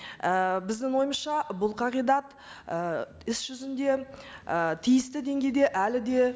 і біздің ойымызша бұл қағидат і іс жүзінде і тиісті деңгейде әлі де